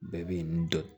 Bɛɛ bɛ n dɔn